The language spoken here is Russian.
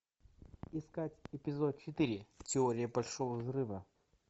искать эпизод четыре теория большого взрыва